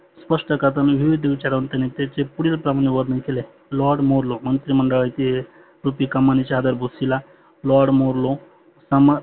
स्पष्ट करताना विवीध विचार वंतानी त्याचे पुढील प्रमाने वर्णन केले आहे. Lord moro मंत्री मंडळाचे lord marlo प्रमान